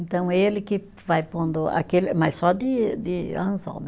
Então ele que vai pondo aquele, mas só de de anzol, né.